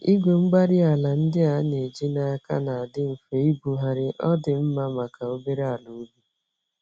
igwe-mgbárí-ala ndị a n'eji n'aka nadị mfe ibugharị, ọdị mma màkà obere àlà ubi.